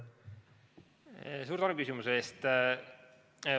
Suur tänu küsimuse eest!